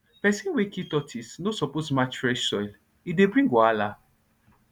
person wey kill tortoise no suppose match fresh soil e dey bring wahala